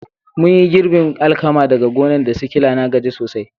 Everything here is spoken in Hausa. Mun yi girbin alkaman daga gonan' da sikila, na gaji sosai.